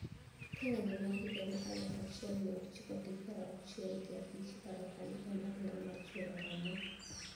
Ka ng`anyo mar higa mar aluf achiel mia ochiko gi pier auchiel gi abich iparo kaka ne en "Odira mar chwero remo"